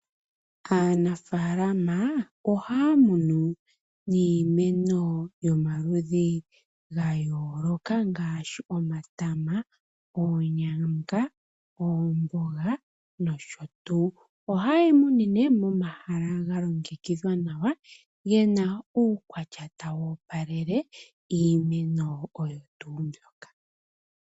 Aanafaalama ohaya munu niimeno yomaludhi ga yooloka ngaashi omatama, oonyanga, oomboga nosho tuu. Ohaye yi munine momahala ga longekidhwa nawa ge na uukwatya tawu opalele iimeno oyo tuu mbyoka.